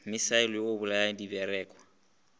misaele wo o bolayago direkwa